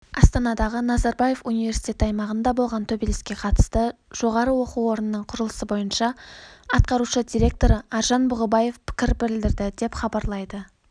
астанадағы назарбаев университеті аймағында болған төбелеске қатысты жоғары оқу орнының құрылыс бойынша атқарушы директоры аржан бұғыбаев пікір білдірді деп хабарлайды